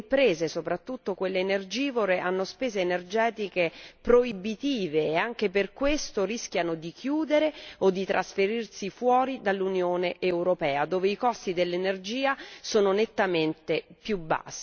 Le imprese, soprattutto quelle energivore, hanno spese energetiche proibitive e anche per questo rischiano di chiudere o di trasferirsi al di fuori dall'Unione europea, dove i costi dell'energia sono nettamente inferiori.